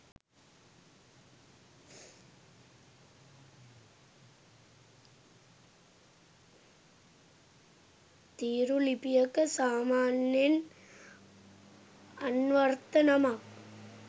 තීරු ලිපියක සාමාන්‍යයෙන් අන්වර්ථ නමක්